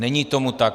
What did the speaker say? Není tomu tak.